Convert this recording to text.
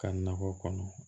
Ka nakɔ kɔnɔ